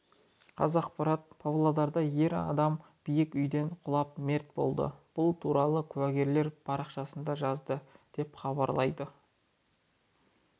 қазақпарат павлодарда ер адам биік үйден құлап мерт болды бұл туралы куәгерлер парақшасында жазды деп хабарлайды